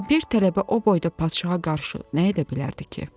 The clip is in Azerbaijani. Axı bir tələbə o boyda padşaha qarşı nə edə bilərdi ki?